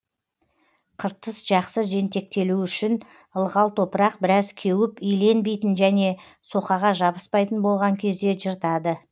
қыртыс жақсы жентектелуі үшін ылғал топырақ біраз кеуіп иленбейтін және соқаға жабыспайтын болған кезде жыртады